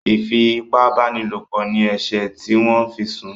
ifi ipá báni lọpọ ní eṣe tí wón fí sún